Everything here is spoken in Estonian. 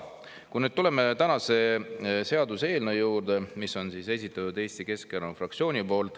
Tuleme nüüd tänase seaduseelnõu juurde, mille on esitanud Eesti Keskerakonna fraktsioon.